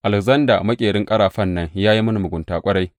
Alekzanda maƙerin ƙarafan nan ya yi mini mugunta ƙwarai.